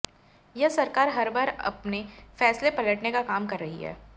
यह सरकार हर बार आपने फैसले पलटने का काम कर रही है